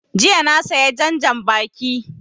Jiya na saya jan janbaki